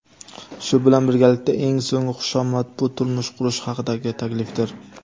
shu bilan birgalikda eng so‘nggi xushomad bu turmush qurish haqidagi taklifdir.